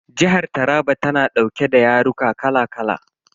Jihar Taraba tana dauke da yaruka kala kala.